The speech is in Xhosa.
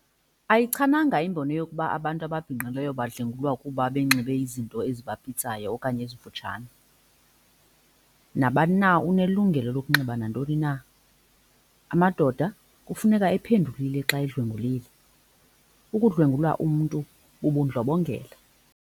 Ayichananga imbono yokuba abantu ababhinqileyo badlwengulwa kuba benxibe izinto ezibapitsayo okanye ezifutshane, nabani na unelungelo lokunxiba nantoni na. Amadoda kufuneka ephendulile xa edlwengulile, ukudlwengulwa umntu bubudlobongela.